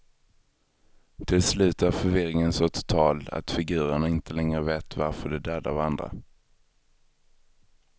Till slut är förvirringen så total att figurerna inte längre vet varför de dödar varandra.